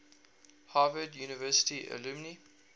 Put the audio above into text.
harvard university alumni